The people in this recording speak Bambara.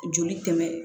Joli tɛmɛ